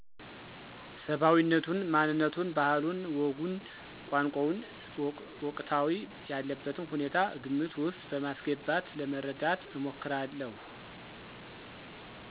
ሰባዊነቱን፣ ማንነቱን፣ ባህሉን፣ ወጉን፣ ቋንቋውንና ወቅታዊ ያለበትን ሁኔታ ግምት ውስጥ በማስገባት ለመረዳት እሞክራለሁ።